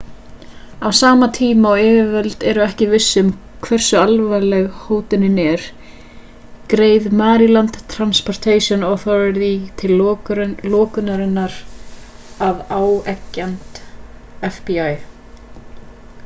á sama tíma og yfirvöld eru ekki viss um hversu alvarleg hótunin er greið maryland transportaion authority til lokunarinnar að áeggjan fbi